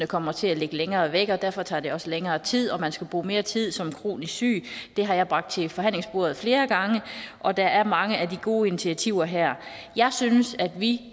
kommer til at ligge længere væk og derfor tager det også længere tid så man skal bruge mere tid som kronisk syg det har jeg bragt til forhandlingsbordet flere gange og der er mange af de gode initiativer her jeg synes at vi